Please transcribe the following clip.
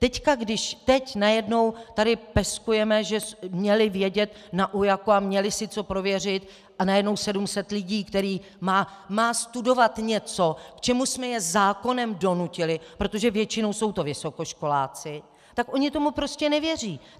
Teď když teď najednou tady peskujeme, že měli vědět na UJAK a měli si co prověřit, a najednou 700 lidí, kteří mají studovat něco, k čemu jsme je zákonem donutili, protože většinou jsou to vysokoškoláci, tak oni tomu prostě nevěří.